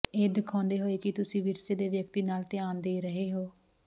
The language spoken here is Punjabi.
ਇਹ ਦਿਖਾਉਂਦੇ ਹੋਏ ਕਿ ਤੁਸੀਂ ਵਿਰਸੇ ਦੇ ਵਿਅਕਤੀ ਨਾਲ ਧਿਆਨ ਦੇ ਰਹੇ ਹੋ